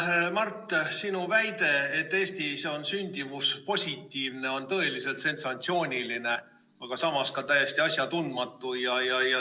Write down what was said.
Hea Mart, sinu väide, et Eestis on sündimus positiivne, on tõeliselt sensatsiooniline, aga samas ka täiesti asjatundmatu.